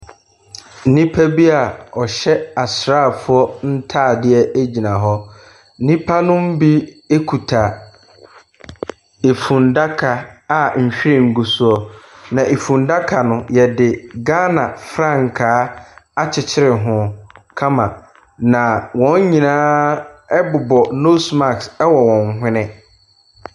Nnipa bi a wɔhyɛ asraafoɔ ntadeɛ gyina hɔ. Nnipa no mu bi kuta fundaka a nhwiren gu soɔ, na fundaka no, wɔde Ghana frankaa akyekyere ho kama, na wɔn nyinaa bobɔ nose mask wɔ wɔn hwene.